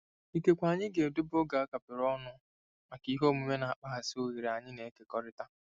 Ikekwe anyị ga-edobe oge a kapịrị ọnụ maka ihe omume na-akpaghasị oghere anyị na-ekekọrịta.